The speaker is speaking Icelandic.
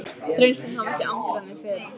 Þrengslin hafa ekki angrað mig fyrr.